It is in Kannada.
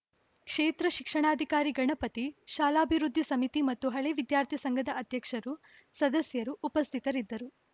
ಕ್ಷೇತ್ರ ಶಿಕ್ಷಣಾಧಿಕಾರಿ ಗಣಪತಿ ಶಾಲಾಭಿವೃದ್ಧಿ ಸಮಿತಿ ಮತ್ತು ಹಳೆ ವಿದ್ಯಾರ್ಥಿ ಸಂಘದ ಅಧ್ಯಕ್ಷರು ಸದಸ್ಯರು ಉಪಸ್ಥಿತರಿದ್ದರು